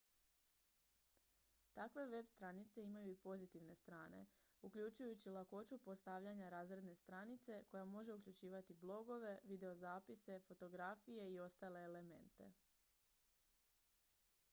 takve web-stranice imaju i pozitivne strane uključujući lakoću postavljanja razredne stranice koja može uključivati ​​blogove videozapise fotografije i ostale elemente